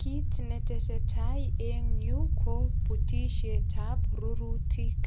Kit netesetai eng yu ko butisiet ab rurutik.